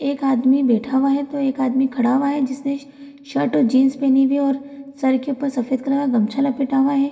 एक आदमी बैठा हुआ है तो एक आदमी खड़ा हुआ है जिसने स शर्ट और जीन्स पहनी हुई है और सर के ऊपर सफ़ेद कलर का गमछा लपेटा हुआ है।